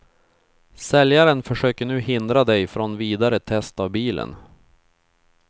Säljaren försöker nu hindra dig från vidare test av bilen.